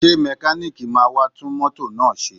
Ṣé mẹkáníìkì máa wá tún mọ́tò náà ṣe?